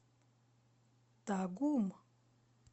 тагум